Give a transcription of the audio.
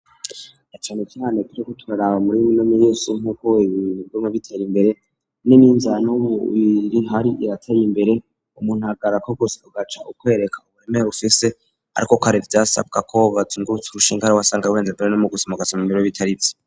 Ecane cane kijego turaraba muri minomi yesu nk'ukowibiigomwe bitera imbere n'ininzana w'umuiri hari irataye imbere umunthagarako gose kugaca ukwereka uburemee ufise, ariko k ari vyasabwa kobaza inguruts urusha inkari wasanga wenze mbere no mu gusamugaza mu biro w bitari vyo.